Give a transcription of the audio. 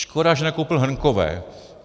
Škoda, že nekoupil hrnkové.